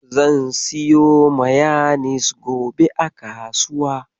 Zan siyo mayanis gobe a kasuwa.